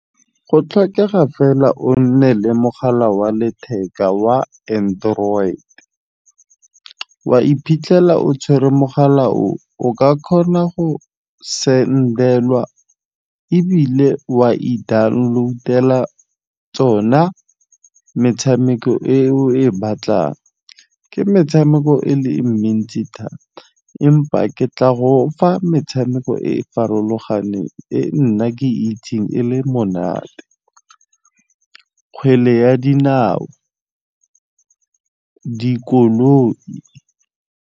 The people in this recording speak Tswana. Go tlhokega fela o nne le mogala wa letheka wa android. Wa iphitlhela o tshwere mogala o, o ka kgona go send-elwa ebile wa e download-ela tsona metshameko e o e batlang. Ke metshameko e le mentsi thata empa ke tla fa metshameko e e farologaneng e nna ke itseng e le monate. Kgwele ya dinao, dikoloi.